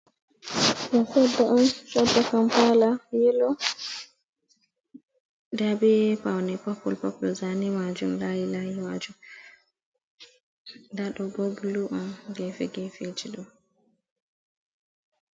Ɗo koɗɗe on koɗɗe kampala yelo, nda be paune popul popul zane majum layi layi majum, nda ɗobo bulu on gefe gefe ji ɗo.